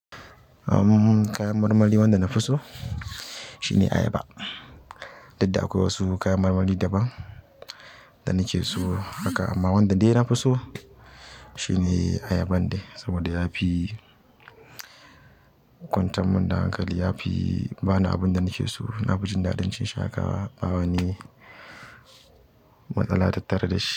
Uhm, kayan marmari wanda na fi so shine ayaba. Duk da akwai wasu kayan marmari daban da nake so haka amma wanda dai na fi so shine ayaban ne. Saboda yafi kwantar min da hankali yafi bani abinda nike so nafi jin daɗin cin shi haka bawani matsala tattare dashi.